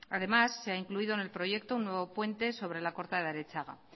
además se ha incluido en el proyecto un nuevo puente sobre la corta de arechaga